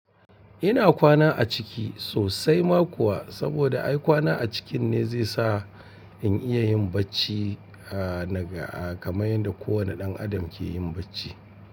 Ina kwana a ciki sosai ma kuwa, saboda ai kwana a cikin ne zai sa in iya yin bacci a, na ga, kamar yadda kowane ɗan adam ke yin bacci.